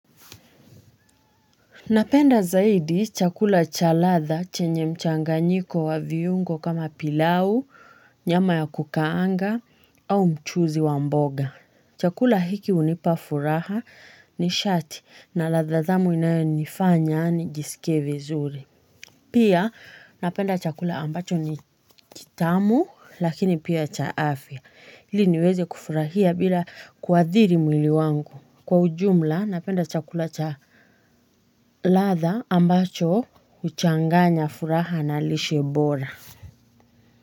Napenda zaidi chakula cha ladhaa chenye mchanganyiko wa viungo kama pilau, nyama ya kukaanga, au mchuzi wa mboga. Chakula hiki unipafuraha nishati na ladhaa tamu inayo nifanya nijisikie zuri. Pia napenda chakula ambacho ni tamu lakini pia cha afya. Ili niweze kufurahia bila kuadhiri mwili wangu. Kwa ujumla napenda chakula cha ladhaa ambacho huchanganya furaha na lishe bora.